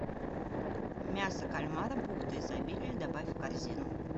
мясо кальмара бухта изобилия добавь в корзину